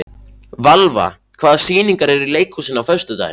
Valva, hvaða sýningar eru í leikhúsinu á föstudaginn?